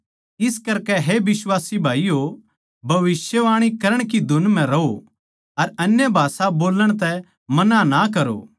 इस करकै हे बिश्वासी भाईयो भविष्यवाणी करण की धुन म्ह रहो अर अन्यभाषा बोल्लण तै मना ना करो